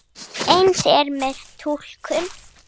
Eins er með túlkun.